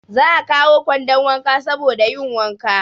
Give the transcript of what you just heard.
Za a kawo kwandon wanka saboda yin wanka.